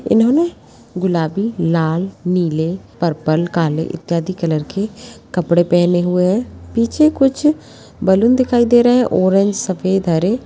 इन्होंने गुलाबी लाल नीले परपल काले इत्यादि कलर के कपड़े पहने हुए हैं पीछे कुछ बैलून दिखाई दे रहें हैं ऑरेंज सफेद हरे --